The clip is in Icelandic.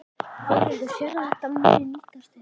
Þórhildur: Sérðu að þetta muni nýtast þér eitthvað?